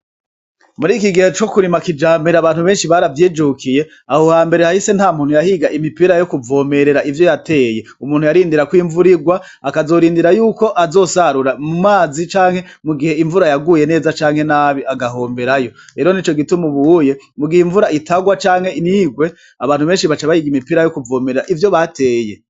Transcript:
Muri iki gihe co kurima kijambera abantu benshi baravyijukiye. Aho hambere hahise nta muntu yahiga imipira yo kuvomerera ivyo yateye. Umuntu yarindira ko imvura igwa akazorindira yuko azosarura mu mazi canke mu gihe imvura yaguye neza canke nabi agahomberayo. Rero nico gituma ubuye mu gihe imvura itagwa canke ntigwe abantu benshi baca bahiga imipira yo kuvomera ivyo bateye.